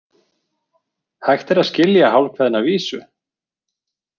Hægt er að skilja hálfkveðna vísu.